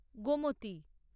Gomti